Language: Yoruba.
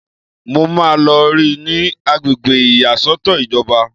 Mo máa lọ rí i ní agbègbè ìyàsọ́tọ̀ ìjọba